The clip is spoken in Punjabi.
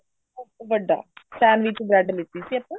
ਵੱਡਾ sandwich bread ਲੀਤੀ ਸੀ ਆਪਾਂ